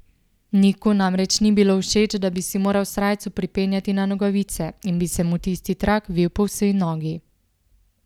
Niku namreč ni bilo všeč, da bi si moral srajco pripenjati na nogavice in bi se mu tisti trak vil po vsej nogi.